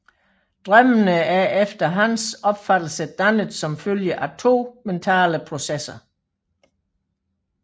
Drømmene er efter hans opfattelse dannet som følge af to mentale processer